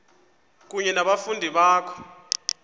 kunye nabafundi bakho